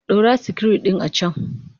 Ɗaura sikiru ɗin a can!